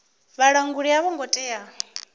vhalanguli a vho ngo tea